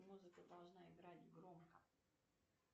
музыка должна играть громко